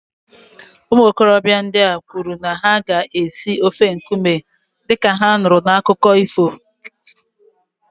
Ụmụ okorobịa ndị a kwuru na ha ga-esi ofe nkume dị ka ha nụrụ n'akụkọ ifo